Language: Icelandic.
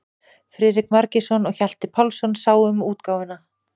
Friðrik Margeirsson og Hjalti Pálsson sáu um útgáfuna.